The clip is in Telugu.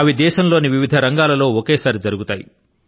అవి దేశం లోని వివిధ రంగాల లో ఒకేసారి జరుగుతాయి